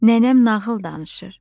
nənəm nağıl danışır.